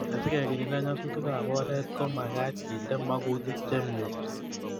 Asikekirinda nyasutikab oret ko makaat kende makutik chemie